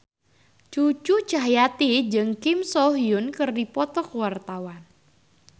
Cucu Cahyati jeung Kim So Hyun keur dipoto ku wartawan